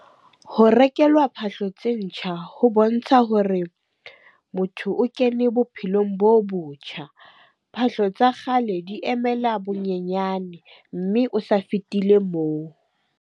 Ho rekelwa phahlo tse ntjha ho bontsha hore motho o kene bophelong bo botjha. Phahlo tsa kgale di emela bonyenyane, mme o sa fetile moo.